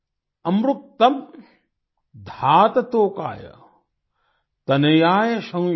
अमृक्तम् धात तोकाय तनयाय शं यो